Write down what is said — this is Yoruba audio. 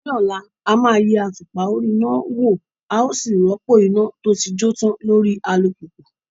Ní ọ̀la, a máa yẹ àtùpà orí náà wò a ó sì rọ́pò iná tó ti jó tán lórí alùpùpù